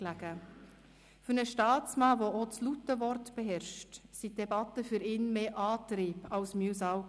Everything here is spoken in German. Für ihn als Staatsmann, der auch das laute Wort beherrscht, waren die Debatten mehr Antrieb als Mühsal.